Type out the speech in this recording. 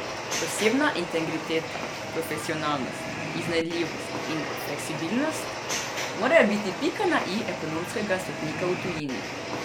Osebna integriteta, profesionalnost, iznajdljivost in fleksibilnost morajo biti pika na i ekonomskega svetnika v tujini.